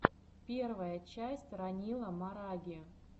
первая часть ранила мараги